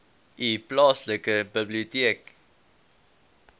u plaaslike biblioteek